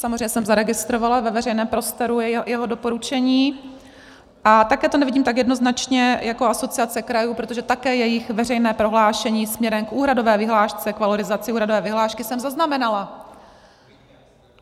Samozřejmě jsem zaregistrovala ve veřejném prostoru jeho doporučení a také to nevidím tak jednoznačně jako Asociace krajů, protože také jejich veřejné prohlášení směrem k úhradové vyhlášce, k valorizaci úhradové vyhlášky, jsem zaznamenala.